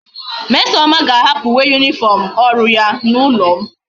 mmesoma ga a hapu uwe uniform oru ya na ulo m